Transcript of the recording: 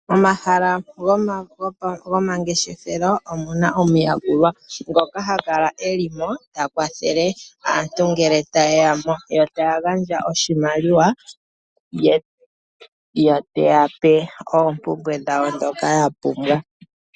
Omahala gomangeshefelo omu na omuyakulwa ngoka ha kala e li mo ta kwathele aantu ngele taye ya mo, yo ta ya gandja oshimaliwa ye teya pe oompumbwe dhawo ndhoka yapumbwa.